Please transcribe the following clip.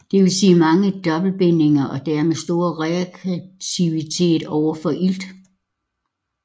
Dvs mange dobbeltbindinger og dermed stor reaktivitet overfor ilt